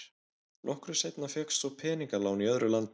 Nokkru seinna fékkst svo peningalán í öðru landi.